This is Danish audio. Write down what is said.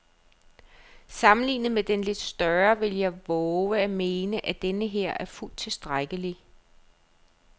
Sammenlignet med den lidt større vil jeg vove at mene, at denneher er fuldt tilstrækkelig.